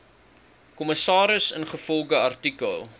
kommissaris ingevolge artikel